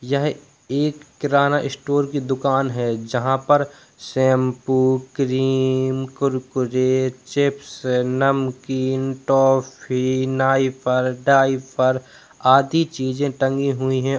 यह एक किराना स्टोर की दुकान है जहां पर शैम्पू क्रीम कुरकुरे चिप्स नमकीन टॉफी नाइफार ढाइफर आदि चीज़ें टंगी हुई हैं।